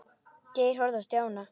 Geir horfði á Stjána.